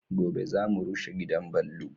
Gobe za mu rushe gidan ballo